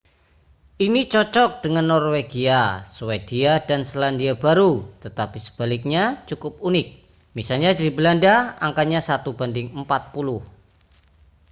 ini cocok dengan norwegia swedia dan selandia baru tetapi sebaliknya cukup unik misalnya di belanda angkanya satu banding empat puluh